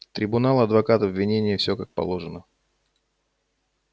трибунал адвокат обвинение всё как положено